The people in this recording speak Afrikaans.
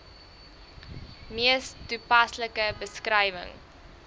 mees toepaslike beskrywing